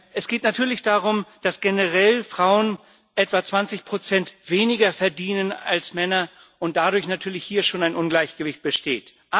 Es geht natürlich darum, dass generell Frauen etwa 20 weniger verdienen als Männer und dadurch natürlich hier schon ein Ungleichgewicht besteht.